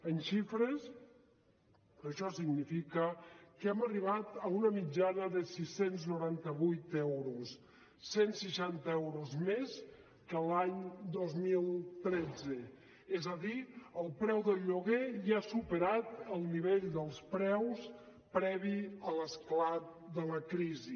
en xifres això significa que hem arribat a una mitjana de sis cents i noranta vuit euros cent seixanta euros més que l’any dos mil tretze és a dir el preu del lloguer ja ha superat el nivell dels preus previ a l’esclat de la crisi